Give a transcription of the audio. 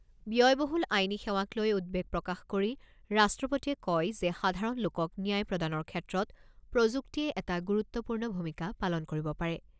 ব্যয়বহুল আইনী সেৱাক লৈ উদ্বেগ প্ৰকাশ কৰি ৰাষ্ট্ৰপতিয়ে কয় যে সাধাৰণ লোকক ন্যায় প্ৰদানৰ ক্ষেত্ৰত প্ৰযুক্তিয়ে এটা গুৰুত্বপূৰ্ণ ভূমিকা পালন কৰিব পাৰে।